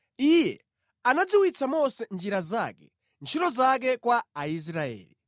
Iye anadziwitsa Mose njira zake, ntchito zake kwa Aisraeli.